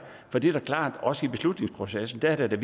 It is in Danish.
for det er da klart at også i beslutningsprocessen er det